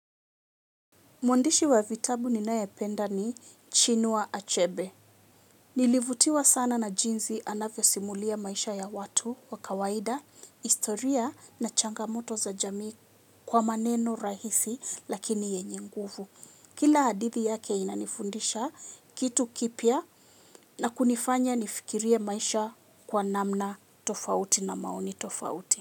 Mwandishi wa vitabu ninaependa ni Chinua Achebe. Nilivutiwa sana na jinzi anavyo simulia maisha ya watu, wakawaida, historia na changamoto za jami kwa maneno rahisi lakini yenye nguvu. Kila hadithi yake inanifundisha kitu kipya na kunifanya nifikirie maisha kwa namna tofauti na maoni tofauti.